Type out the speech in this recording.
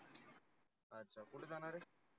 अच्छा कुटे जानार आहे?